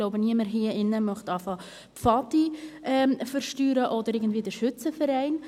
Ich denke, niemand hier drin möchte anfangen, die Pfadi zu besteuern oder den Schützenverein.